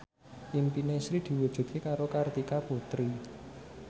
impine Sri diwujudke karo Kartika Putri